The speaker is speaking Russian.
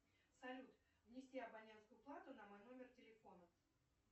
салют внести абонентскую плату на мой номер телефона